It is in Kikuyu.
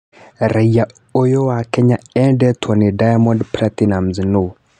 Raiya ũyũ wa Kenya "enedetwo" nĩ Diamond Platnumz nũ?